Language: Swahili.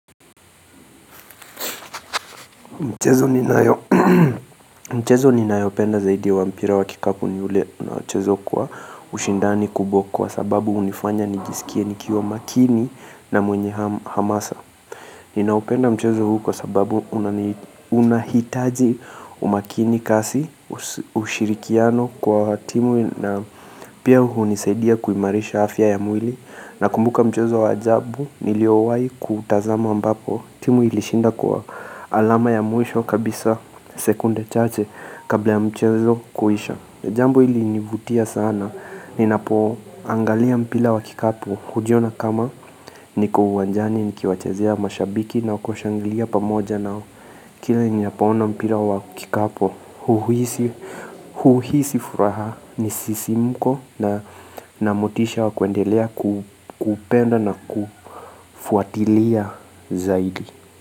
Mchezo ninayopenda zaidi wa mpira wa kikapu ni ule unaochezwa kwa ushindani kubwa kwa sababu hunifanya nijisikie nikiwa makini na mwenye hamasa. Ninaupenda mchezo huu kwa sababu unani unahitaji umakini kasi ushirikiano kwa timu na pia hunisaidia kuimarisha afya ya mwili na kumbuka mchezo wa ajabu niliowahi kutazama ambapo timu ilishinda kwa alama ya mwisho kabisa sekunde chache kabla ya mchezo kuisha jambo ili nivutia sana Ninapo angalia mpira wa kikapu hujiona kama niko uwanjani niki wachezea mashabiki na kushangilia pamoja nao Kile ninapoona mpira wa kikapo huhisi huhisi furaha nisisimuko na motisha wakwendelea ku kupenda na kufuatilia zaidi.